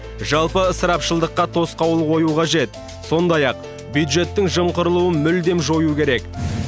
жалпы ысырапшылдыққа тосқауыл қою қажет сондай ақ бюджеттің жымқырылуын мүлдем жою керек